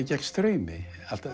gegn straumi